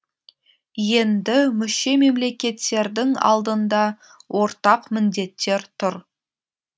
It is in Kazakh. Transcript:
енді мүше мемлекеттердің алдында ортақ міндеттер тұр